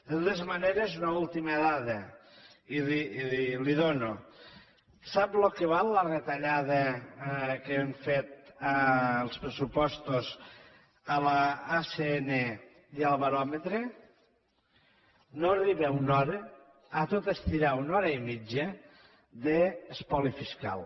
de totes maneres una última dada i la hi dono sap el que val la retallada que han fet als pressupostos de l’acn i el baròmetre no arriba a una hora a tot estirar una hora i mitja d’espoli fiscal